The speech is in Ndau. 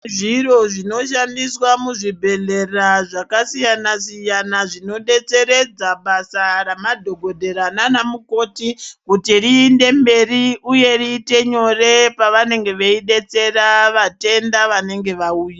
Zviro zvinoshandiswa muzvibhedhlera zvakasiyana-siyana zvinodetseredza basa ramadhokodhera naana mukoti kuti riinde mberi uye riite nyore pavanenge veidetsera vatenda vanenge vauya.